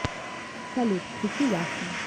салют включи яшина